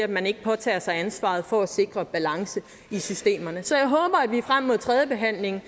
man ikke påtager sig ansvaret for at sikre balance i systemerne så jeg håber at vi frem mod tredjebehandlingen